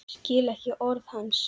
Skil ekki orð hans.